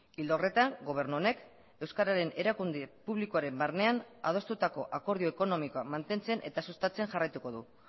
ildo horretan gobernu honek euskararen erakunde publikoaren barnean adostutako akordio ekonomikoa mantentzen eta sustatzen jarraituko du